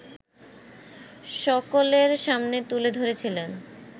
সকলের সামনে তুলে ধরেছিলেন